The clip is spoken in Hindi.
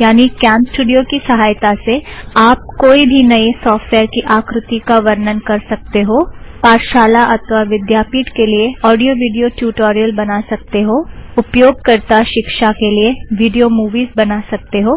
यानी कॅमस्टूड़ियो की सहायता से आप - कोई भी नई सॉफ़्टवॅयर की आकृती का वर्णन कर सकते हो पाठशाला अथ्वा विध्यापीठ के लिए ओड़ियो विड़ियो ट्युटोरियल बना सकते हो उपयोगकरता शिक्षा के लिए विड़ियो मुविज़ बना सकते हो